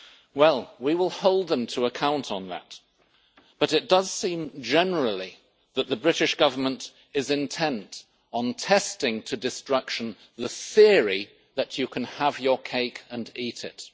Well, we will hold them to account on that, but it does seem, generally, that the British Government is intent on testing to destruction the theory that you can have your cake and eat it.